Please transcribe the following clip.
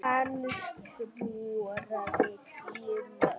Hann skoraði tíu mörk.